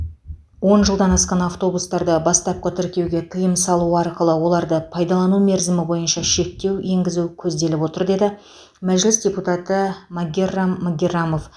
он жылдан асқан автобустарды бастапқы тіркеуге тыйым салу арқылы оларды пайдалану мерзімі бойынша шектеу енгізу көзделіп отыр деді мәжіліс депутаты магеррам магеррамов